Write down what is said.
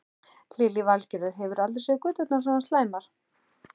Lillý Valgerður: Hefurðu aldrei séð göturnar svona slæmar?